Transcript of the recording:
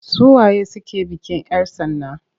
Su waye suke bikin 'yar tsana?